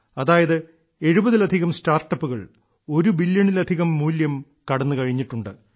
അതായത് എഴുപതിലധികം സ്റ്റാർട്ടപ്പുകൾ ഒരു ബില്യണിലധികം മൂല്യം കടന്നുകഴിഞ്ഞിട്ടുണ്ട്